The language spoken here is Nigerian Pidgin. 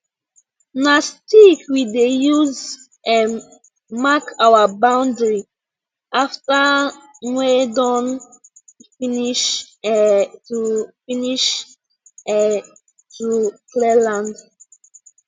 na stick we dey use um mark our boundary after nwe don finish um to finish um to clear land